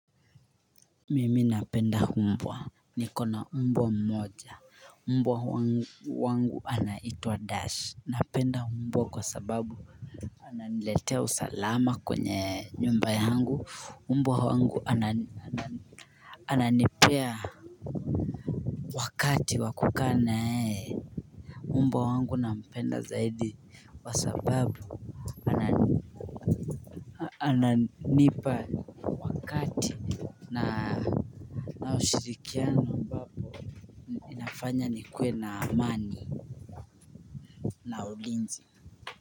Mimi napenda humbwa Nikona umbwa mmoja Umbwa wangu wangu anaitwa dash Napenda umbwa kwa sababu Ananiletea usalama kwenye nyumba yangu umbwa wangu ananipea wakati wa kukaa naee Umbwa wangu nampenda zaidi kwa sababu Ananipa wakati na ushirikiano inafanya nikuwe na amani na ulinzi.